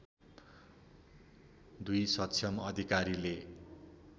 २ सक्षम अधिकारीले